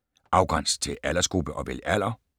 Afgræns til aldersgruppe og vælg alder